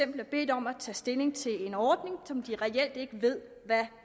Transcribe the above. bliver bedt om at tage stilling til en ordning som de reelt ikke ved hvad